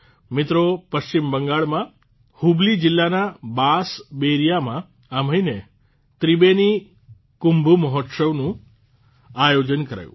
મિત્રો પશ્ચિમ બંગાળમાં હુબલી જીલ્લાના બાસ બેરિયામાં આ મહિને ત્રિબેની કુમ્ભો મોહોત્શોવનું આયોજન કરાયું